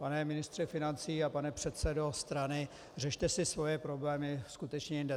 Pane ministře financí a pane předsedo strany, řešte si svoje problémy skutečně jinde.